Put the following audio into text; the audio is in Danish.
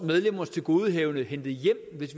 medlemmers tilgodehavende hentet hjem hvis